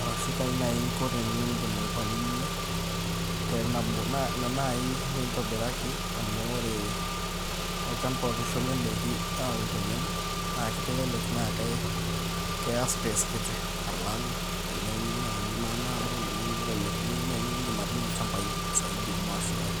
arashu kaai nai inko teniindim aipalilia tenabo, naa ina naaji naitobiraki amu ore olchamba oitushuli indaiki aaun tenebo naa kitelelek naa keya space kiti alang' eneuni naaji maanaabo niun naaji niindim atuuno ilchambai saidi obo ashu aare.